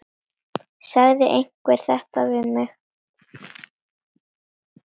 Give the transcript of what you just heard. Sagði einhver þetta við mig?